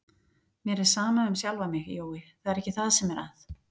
Mér er sama um sjálfa mig, Jói, það er ekki það sem er að.